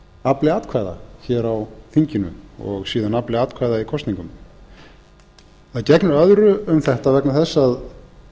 afli atkvæða hér á þinginu og síðan afli atkvæða í kosningunum það gegnir öðru um þetta vegna þess að